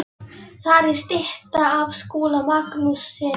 Þar er stytta af Skúla Magnússyni.